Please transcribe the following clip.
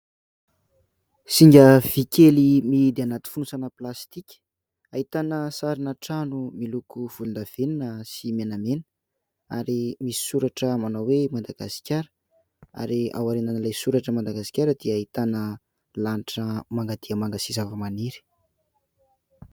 Zinga vy kely mihidy anaty fonosana plastika, ahitana sarina trano miloko volon-davenona sy menamena ary misy soratra manao hoe: "Madagasikara"; ary ao arinan'ilay soratra "Madagasikara" dia ahitana lanitra manga dia manga sy zava-maniry.